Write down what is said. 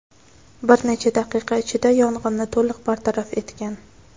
bir necha daqiqa ichida yong‘inni to‘liq bartaraf etgan.